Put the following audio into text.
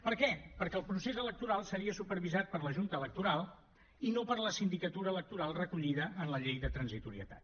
per què perquè el procés electoral seria supervisat per la junta electoral i no per la sindicatura electoral recollida en la llei de transitorietat